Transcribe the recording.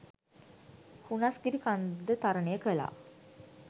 හුනස්ගිරිකන්ද තරණය කලා.